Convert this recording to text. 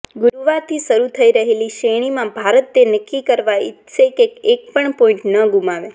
ગુરૂવારથી શરૂ થઈ રહેલી શ્રેણીમાં ભારત તે નક્કી કરવા ઈચ્છશે કે એકપણ પોઈન્ટ ન ગુમાવે